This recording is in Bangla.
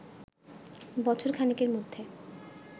বছর খানেকের মধ্যে